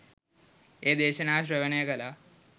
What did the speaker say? ඒ දේශනාව ශ්‍රවණය කළා.